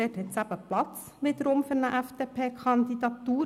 hier hat es wiederum Platz für eine FDP-Kandidatur.